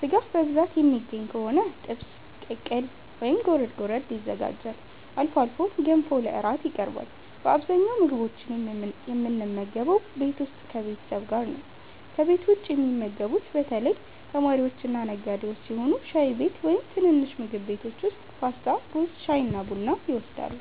ሥጋ በብዛት የሚገኝ ከሆነ ጥብስ፣ ቅቅል ወይም ጎረድ ጎረድ ይዘጋጃል። አልፎ አልፎ ገንፎ ለእራት ይበላል። በአብዛኛው ምግቦችን የምንመገበው ቤት ውስጥ ከቤተሰብ ጋር ነው። ከቤት ውጭ የሚመገቡት በተለይ ተማሪዎችና ነጋዴዎች ሲሆኑ ሻይ ቤት ወይም ትንንሽ ምግብ ቤቶች ውስጥ ፓስታ፣ ሩዝ፣ ሻይና ቡና ይወስዳሉ።